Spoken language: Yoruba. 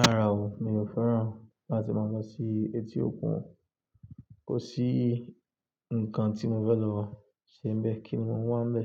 Rárà o, mi ò fẹ́ràn láti máa lọ sí etí òkun. Kò sí nǹkan tí mo fẹ́ lọ seníbẹ̀ kí ni monwá ń bẹ.